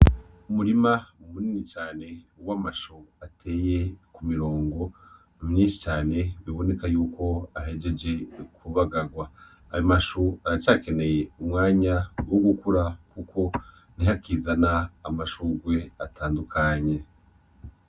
Umurima munini cane w'amashu ateye ku mironga myinshi cane biboneka y'uko ahejeje kubagagwa, ayo mashu aracakeneye umwanya wo gukura kuko nih'akizana amashurwe atandukanye.